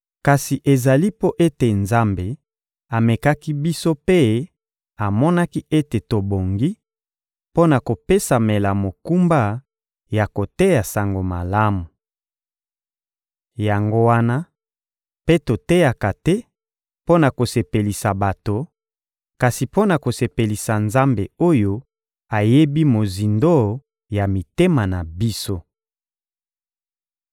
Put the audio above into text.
Kasi ezali mpo ete Nzambe amekaki biso mpe amonaki ete tobongi mpo na kopesamela mokumba ya koteya Sango Malamu. Yango wana mpe toteyaka te mpo na kosepelisa bato, kasi mpo na kosepelisa Nzambe oyo ayebi mozindo ya mitema na biso.